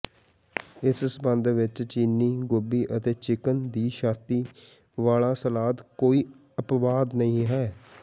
ਇਸ ਸਬੰਧ ਵਿਚ ਚੀਨੀ ਗੋਭੀ ਅਤੇ ਚਿਕਨ ਦੀ ਛਾਤੀ ਵਾਲਾ ਸਲਾਦ ਕੋਈ ਅਪਵਾਦ ਨਹੀਂ ਹੈ